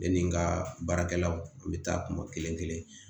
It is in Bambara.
Ne ni n ka baarakɛlaw n bɛ taa kuma kelen kelen kelen